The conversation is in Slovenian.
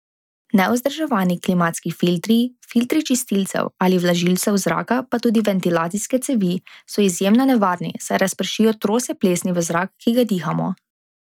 Nevzdrževani klimatski filtri, filtri čistilcev ali vlažilcev zraka pa tudi ventilacijske cevi, so izjemno nevarni, saj razpršijo trose plesni v zrak, ki ga dihamo.